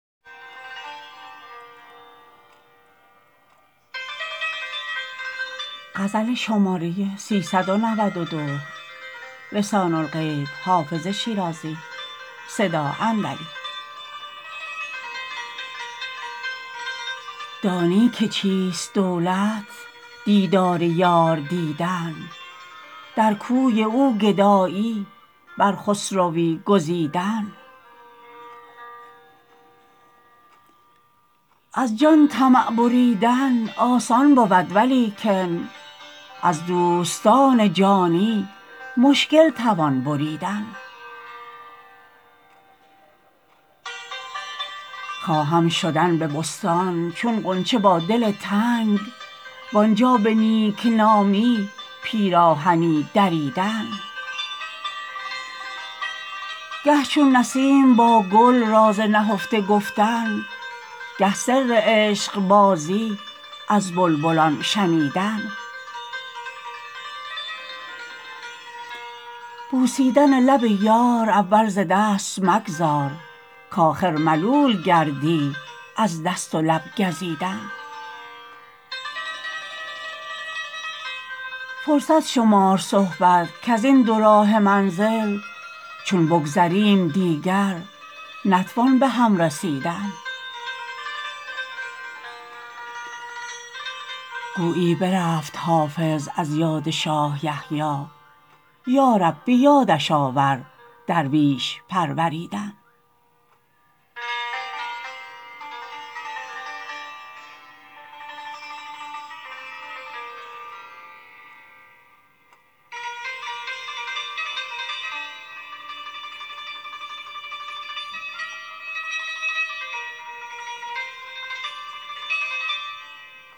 دانی که چیست دولت دیدار یار دیدن در کوی او گدایی بر خسروی گزیدن از جان طمع بریدن آسان بود ولیکن از دوستان جانی مشکل توان بریدن خواهم شدن به بستان چون غنچه با دل تنگ وآنجا به نیک نامی پیراهنی دریدن گه چون نسیم با گل راز نهفته گفتن گه سر عشق بازی از بلبلان شنیدن بوسیدن لب یار اول ز دست مگذار کآخر ملول گردی از دست و لب گزیدن فرصت شمار صحبت کز این دوراهه منزل چون بگذریم دیگر نتوان به هم رسیدن گویی برفت حافظ از یاد شاه یحیی یا رب به یادش آور درویش پروریدن